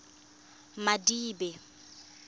madibe